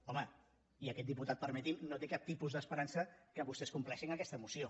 home i aquest diputat permeti m’ho no té cap tipus d’esperança que vostès compleixin aquesta moció